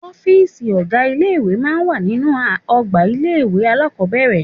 Ọ́fìsì ọ̀gá ilé ìwé máa ń wà nínú ọgbà ilé-ìwé alákọ́bẹ̀rẹ̀